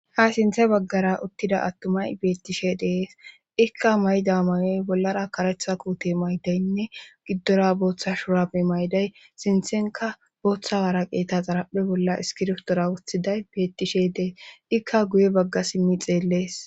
ha sinthe baggara uttida attumay beettishe de'es ikka mayda mayoy bollara karetha kuute maydaynne giddora booththa shurami mayday sinthenka booththa waaraweeta xaraphe bolla iskirftora wothiday beettishe dees ikka guye bagga simmi xeellees